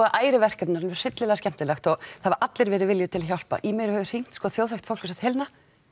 ærið verkefni en alveg hryllilega skemmtilegt það hafa allir verið viljugir til að hjálpa í mig hefur hringt þjóðþekkt fólk og sagt Helena